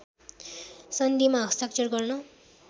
सन्धिमा हस्ताक्षर गर्न